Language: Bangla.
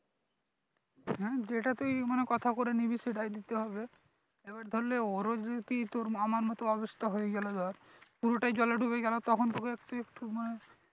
হম যেটা তুই মানে কথা করে নিবি সেটাই দিতে হবে এবার ধরে না ওরও যদি তোর আমার মতো অবস্থা হয়ে গেলো ধর পুরোটাই জলে ডুবে গেলো তখন তোকে একটু একটু মানে